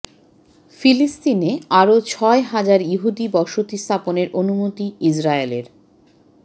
ফিলিস্তিনে আরও ছয় হাজার ইহুদি বসতি স্থাপনের অনুমতি ইসরায়েলের